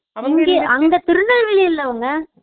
அவுங்க திருநெல்வேலில அவுங்க